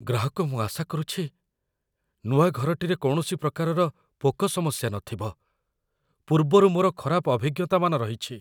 ଗ୍ରାହକ "ମୁଁ ଆଶା କରୁଛି, ନୂଆ ଘରଟିରେ କୌଣସି ପ୍ରକାରର ପୋକ ସମସ୍ୟା ନଥିବ, ପୂର୍ବରୁ ମୋର ଖରାପ ଅଭିଜ୍ଞତାମାନ ରହିଛି।"